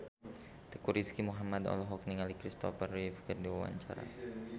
Teuku Rizky Muhammad olohok ningali Kristopher Reeve keur diwawancara